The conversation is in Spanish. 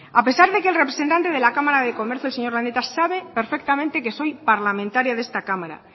a pesar de que el representante de la cámara de comercio el señor landeta sabe perfectamente que soy parlamentaria de esta cámara